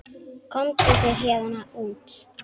Komdu þér héðan út.